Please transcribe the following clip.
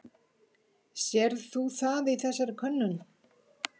Sérð þú það í þessari könnun?